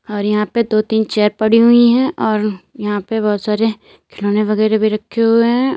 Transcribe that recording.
और यहां पे दो तीन चेयर पड़ी हुई हैं और यहां पे बहुत सारे खिलौने वगैरह भी रखे हुए हैं।